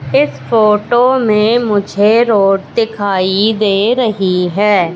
इस फोटो में मुझे रोड दिखाई दे रही है।